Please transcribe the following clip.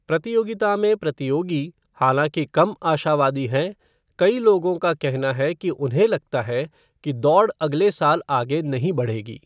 प्रतियोगिता में प्रतियोगी, हालांकि, कम आशावादी हैं, कई लोगों का कहना है कि उन्हें लगता है कि दौड़ अगले साल आगे नहीं बढ़ेगी।